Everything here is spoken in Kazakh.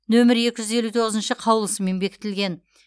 нөмір екі жүз елу тоғызыншы қаулысымен бекітілген